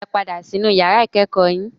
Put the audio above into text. Ẹ padà sí inú yàrá ìkẹ́kọ̀ọ́ yín.